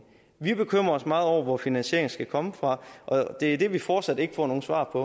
vi bekymrer os meget over hvor finansieringen skal komme fra og det er det vi fortsat ikke får noget svar på